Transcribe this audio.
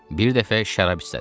Bir dəfə şərab islədi.